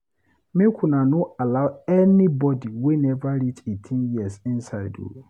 Make una no allow anybodi wey neva reach eighteen years inside o.